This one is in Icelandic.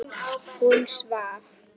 Hún svaf.